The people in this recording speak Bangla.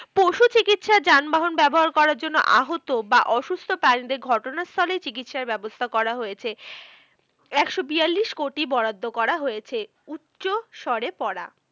যানবাহন ব্যবহার করার জন্য আহত বা অসুস্থকারী দের ঘটনাস্থলেই চিকিৎসার ব্যবস্থা করা হয়েছে। একশো বিয়াল্লিশ কোটি বরাদ্দ করা হয়েছে। উচ্চস্বরে পড়া